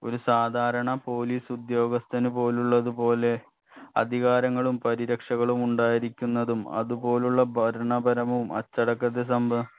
ഒരു സാധാരണ police ഉദ്യോഗസ്ഥനുപോലുള്ളത് പോലെ അധികാരങ്ങളും പരിരക്ഷകളും ഉണ്ടായിരിക്കുന്നതും അതുപോലുള്ള ഭരണപരവും അച്ചടക്കത്തെ സംബ